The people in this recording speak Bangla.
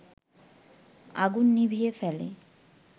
আগুন নিভিয়ে ফেলে